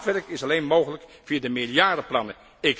Maatwerk is alleen mogelijk via de meerjarenplannen.